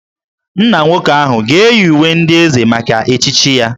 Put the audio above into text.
Nna nwoke ahụ ga-eyi uwe ndị Eze maka echichi ya